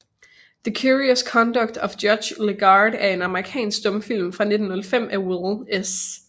The Curious Conduct of Judge Legarde er en amerikansk stumfilm fra 1915 af Will S